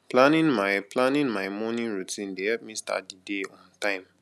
planning my planning my morning routine dey help me start the day on time